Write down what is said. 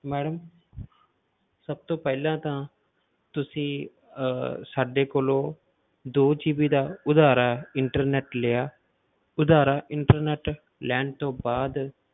Madam ਸਭ ਤੋਂ ਪਹਿਲਾਂ ਤਾਂ ਤੁਸੀਂ ਅਹ ਸਾਡੇ ਕੋਲੋਂ ਦੋ GB ਦਾ ਉਧਾਰਾ internet ਲਿਆ, ਉਧਾਰਾ internet ਲੈਣ ਤੋਂ ਬਾਅਦ